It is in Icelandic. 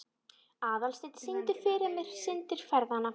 Aðalsteinunn, syngdu fyrir mig „Syndir feðranna“.